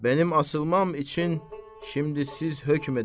Mənim asılmam üçün şimdi siz hökm edərsiniz.